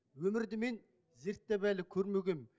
өмірді мен зерттеп әлі көрмегем